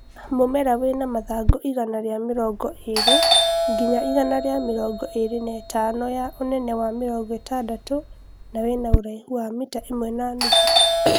Mũmera wĩna mathangũ igana rĩa mĩrongo ĩlĩ nginya igana ria mĩrongo ĩli na ĩtano ya ũnene wa mĩrongo ĩtandatũ na wĩna ũraihu wa mita ĩmwe na nuthu